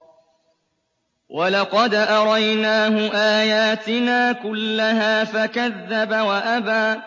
وَلَقَدْ أَرَيْنَاهُ آيَاتِنَا كُلَّهَا فَكَذَّبَ وَأَبَىٰ